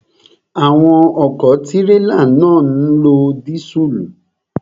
Àwọn ọ̀kọ̀ tírélà náà ń lo dísùlù.